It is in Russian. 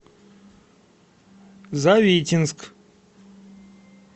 завитинск